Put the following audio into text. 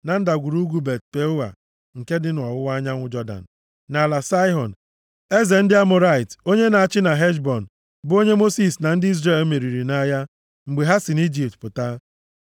na ndagwurugwu Bet-Peoa nke dị nʼọwụwa anyanwụ Jọdan, nʼala Saịhọn, eze ndị Amọrait, onye na-achị na Heshbọn, bụ onye Mosis na ndị Izrel meriri nʼagha mgbe ha si nʼIjipt pụta.